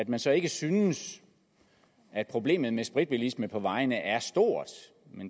man så ikke synes at problemet med spritbilisme på vejene er stort